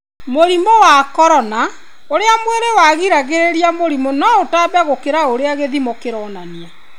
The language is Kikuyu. Mũrimũ wa corona: ũrĩa mwĩrĩ wĩrigagĩrĩria mĩrimũ no ũtambe gũkĩra ũrĩa gĩthimo kĩronania.